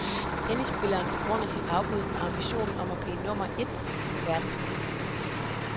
Tennisspilleren begrunder sit afbud med ambitionen om at blive nummer et på verdensranglisten.